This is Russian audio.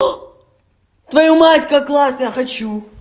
твою мать как классно я хочу